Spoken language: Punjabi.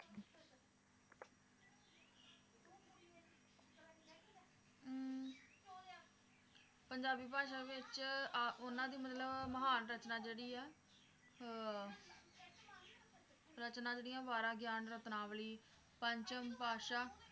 ਪੰਜਾਬੀ ਭਾਸ਼ਾ ਵਿਚ ਆ ਉਹਨਾਂ ਦੀ ਮਤਲਬ ਮਹਾਨ ਰਚਨਾ ਜਿਹੜੀ ਆ ਅਹ ਰਚਨਾ ਜਿਹੜੀਆਂ ਉਹ ਵਾਰਾਂ ਗਿਆਨਰਤਨਾਵਲੀ ਪੰਚਮ ਪਾਤਸ਼ਾਹ